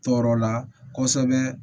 Tɔɔrɔ la kosɛbɛ